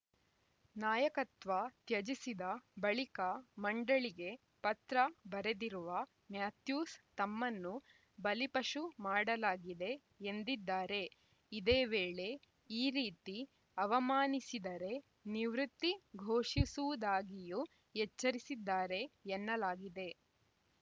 ನಾಯಕತ್ವ ತ್ಯಜಿಸಿದ ಬಳಿಕ ಮಂಡಳಿಗೆ ಪತ್ರ ಬರೆದಿರುವ ಮ್ಯಾಥ್ಯೂಸ್‌ ತಮ್ಮನ್ನು ಬಲಿಪಶು ಮಾಡಲಾಗಿದೆ ಎಂದಿದ್ದಾರೆ ಇದೇ ವೇಳೆ ಈ ರೀತಿ ಅವಮಾನಿಸಿದರೆ ನಿವೃತ್ತಿ ಘೋಷಿಸುವುದಾಗಿಯೂ ಎಚ್ಚರಿಸಿದ್ದಾರೆ ಎನ್ನಲಾಗಿದೆ